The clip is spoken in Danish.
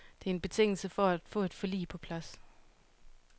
Det er en betingelse for at få et forlig på plads.